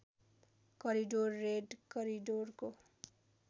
corridor red करिडोरको